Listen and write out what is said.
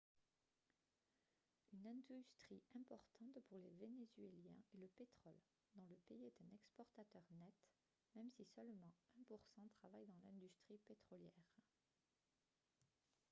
une industrie importante pour les vénézuéliens est le pétrole dont le pays est un exportateur net même si seulement un pour cent travaille dans l'industrie pétrolière